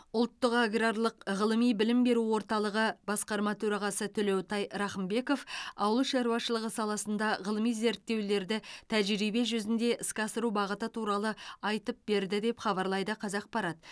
ұлттық аграрлық ғылыми білім беру орталығы басқарма төрағасы төлеутай рақымбеков ауыл шаруашылығы саласында ғылыми зерттеулерді тәжірибе жүзінде іске асыру бағыты туралы айтып берді деп хабарлайды қазақпарат